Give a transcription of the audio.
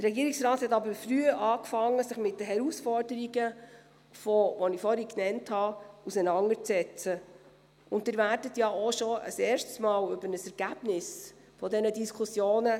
Der Regierungsrat hat aber früh angefangen, sich mit den vorhin von mir genannten Herausforderungen auseinanderzusetzen.